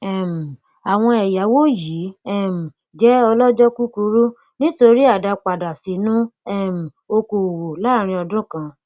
um àwọn ẹyáwó yìí um jẹ ọlọjọ kúkúrú nítorí àdápadà sínú um okoòwò láàárín ọdún kan